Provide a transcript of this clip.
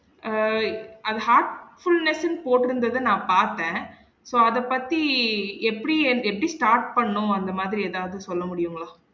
அஹ் அது heartfulness ன்னு போற்றுந்தத நா பாத்தன் so அத பத்தி எப்படி எப்படி start பண்ணும் அந்த மாதிரி எதாவது சொல்ல முடியுங்களா?